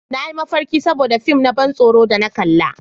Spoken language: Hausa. Na yi mafarki saboda fin na ban tsoro da na kalla